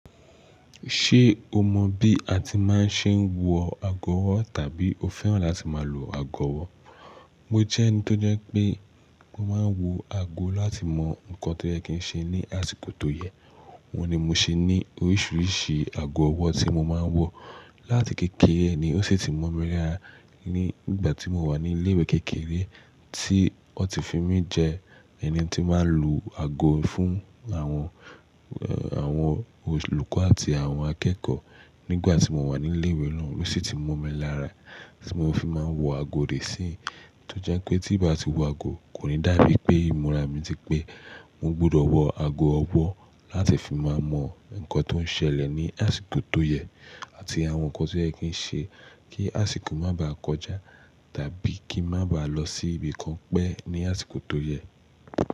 Ṣé o mọ bí a ti máa ń ṣe wọ ago ọwó tàbí o fẹ́ràn láti máa lo ago ọwọ́? Mo jẹ́ ẹni tó jẹ́ pé ó máa ń wọ ago láti mọ nǹkan tó yẹ kí n ṣe ní àsìkò tó yẹ. Òun ni mo ṣe ní oríṣiríṣi ago ọwọ́ tí mo máa ń wọ. Láti kékeré ni ó sì ti mọ̀ mí lára. Ní ìgbà tí mo wà ní ilé ìwé kékeré tí wọ́n ti fi mí jẹ ẹni tí máa ń lu ago fún àwọn, àwọn olùkọ́ àti àwon akẹ́kọ̀ọ́. Nígbà tí mo wà ní ilé ìwé náà ló sì ti mọ̀ mí lára tí mo fi máa ń wọ ago di ìsinyí. Tó jẹ́ pé tí ń bá ti wọ ago, kò ní dàbí pé ìmúra mi ti pé. Mo gbódò wo aago owó láti lè fi máa mo nńkan tí ó selè ni àsìkò tó ye, àti àwon nńkan tó ye kí n se kí àsìko mà ba kojá tàbí kí n má ba lo sí ibì kan pé ní àsikò tó ye.